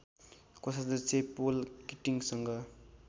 कोषाध्यक्ष पोल किटिङसँग